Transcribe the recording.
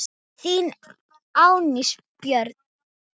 Þín, Anný Björg.